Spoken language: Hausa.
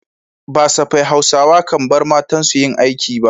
Ba safai Hausawa kan bar matansu yin aiki ba.